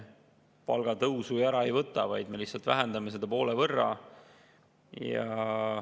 Palgatõusu me ju ära ei võta, me lihtsalt vähendame seda poole võrra.